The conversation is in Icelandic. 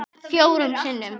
Fjórum sinnum